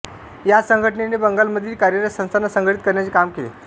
या संघटनेने बंगालमधील कार्यरत संस्थांना संघटित करण्याचे काम केले